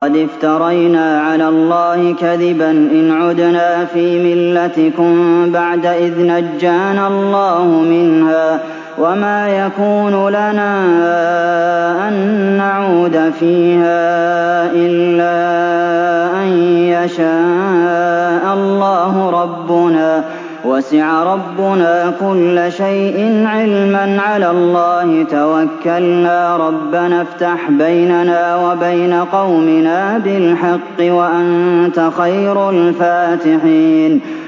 قَدِ افْتَرَيْنَا عَلَى اللَّهِ كَذِبًا إِنْ عُدْنَا فِي مِلَّتِكُم بَعْدَ إِذْ نَجَّانَا اللَّهُ مِنْهَا ۚ وَمَا يَكُونُ لَنَا أَن نَّعُودَ فِيهَا إِلَّا أَن يَشَاءَ اللَّهُ رَبُّنَا ۚ وَسِعَ رَبُّنَا كُلَّ شَيْءٍ عِلْمًا ۚ عَلَى اللَّهِ تَوَكَّلْنَا ۚ رَبَّنَا افْتَحْ بَيْنَنَا وَبَيْنَ قَوْمِنَا بِالْحَقِّ وَأَنتَ خَيْرُ الْفَاتِحِينَ